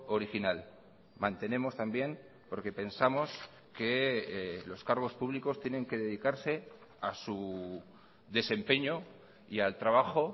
original mantenemos también porque pensamos que los cargos públicos tienen que dedicarse a su desempeño y al trabajo